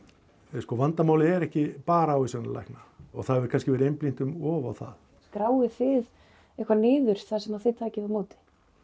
sko vandamálið er ekki bara ávísanir lækna og það hefur kannski verið einblínt um of á það skráið þið eitthvað niður það sem að þið takið á móti